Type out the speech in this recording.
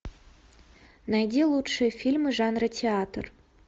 найди лучшие фильмы жанра театр